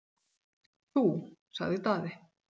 """Þú, sagði Daði."""